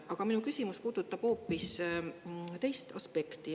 Aga minu küsimus puudutab hoopis teist aspekti.